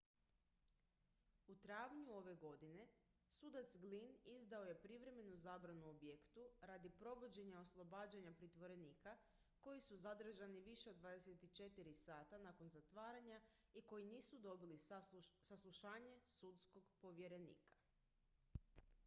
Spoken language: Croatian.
u travnju ove godine sudac glynn izdao je privremenu zabranu objektu radi provođenja oslobađanja pritvorenika koji su zadržani više od 24 sata nakon zatvaranja i koji nisu dobili saslušanje sudskog povjerenika